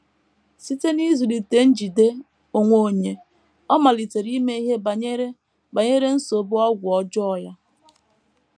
Site n’ịzụlite njide onwe onye, ọ malitere ime ihe banyere banyere nsogbu ọgwụ ọjọọ ya.